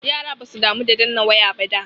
Yara basu damu da danna waya ba da.